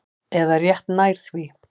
Eða rétt nær því.